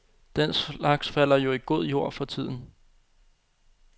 Den slags falder jo i god jord for tiden.